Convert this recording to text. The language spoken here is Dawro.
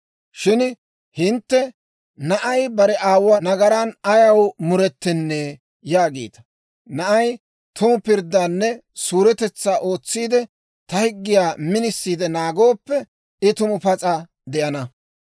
«Shin hintte, ‹Na'ay bare aawuwaa nagaran ayaw muretennee yaagiita. Na'ay tumu pirddaanne suuretetsaa ootsiide, ta higgiyaa minisiide naagooppe, I tumu pas'a de'ana.